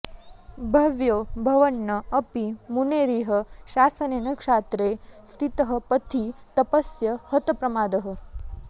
भव्यो भवन्न् अपि मुनेरिह शासनेन क्षात्रे स्थितः पथि तपस्य हतप्रमादः